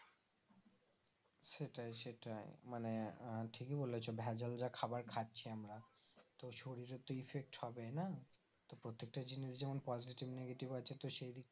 সেটাই সেটাই মানে আহ ঠিকি বলেছো ভেজাল যা খাবার খাচ্ছি আমরা তো শরীরে তো effect হবেই না তো প্রত্যেকটা জিনিস যেমন positive, negative আছে